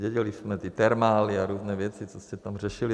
Věděli jsme, ty termály a různé věci, co jste tam řešili.